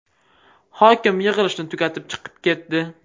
Hokim yig‘ilishni tugatib chiqib ketdi.